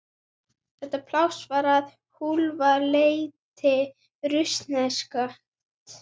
Þetta pláss var að hálfu leyti rússneskt.